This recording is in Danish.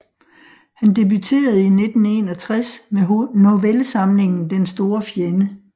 Han debuterede i 1961 med novellesamlingen Den store fjende